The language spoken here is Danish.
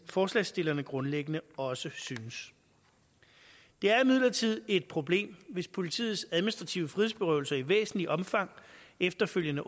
forslagsstillerne grundlæggende også synes det er imidlertid et problem hvis politiets administrative frihedsberøvelser i væsentligt omfang efterfølgende